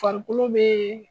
Farikolo bee